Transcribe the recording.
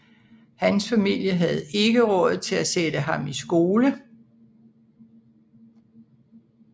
Hans familie havde ikke råd til at sætte ham i skole